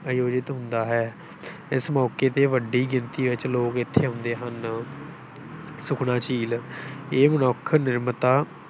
ਆਯੋਜਿਤ ਹੁੰਦਾ ਹੈ ਇਸ ਮੌਕੇ ਤੇ ਵੱਡੀ ਗਿਣਤੀ ਵਿੱਚ ਲੋਕ ਇੱਥੇ ਆਉਂਦੇ ਹਨ, ਸੁਖਨਾ ਝੀਲ ਇਹ ਮਨੁੱਖ ਨਿਰਮਤਾ